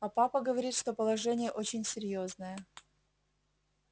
а папа говорит что положение очень серьёзное